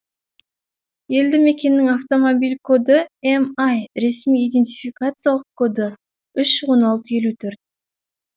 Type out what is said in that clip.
елді мекеннің автомобиль коды ми ай ресми идентификациялық коды үш он алты елу төрт